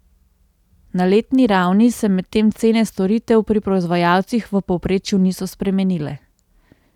Na letni ravni se medtem cene storitev pri proizvajalcih v povprečju niso spremenile.